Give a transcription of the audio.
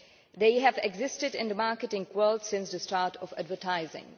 They have existed in the marketing world since the start of advertising.